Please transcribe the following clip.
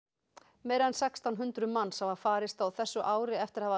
meira en sextán hundruð manns hafa farist á þessu ári eftir að hafa